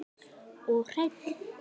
Og hreinn!